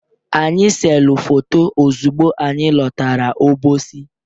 Anyị selu foto ozugbo anyị lọtara Obosi.